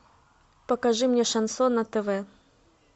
покажи мне шансон на тв